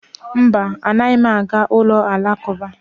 Mba, anaghị m aga n'ụlọ Alakụba